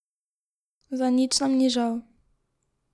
Za nič nam ni žal.